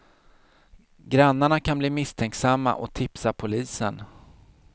Grannarna kan bli misstänksamma och tipsa polisen.